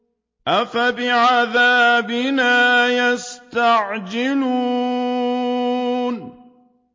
أَفَبِعَذَابِنَا يَسْتَعْجِلُونَ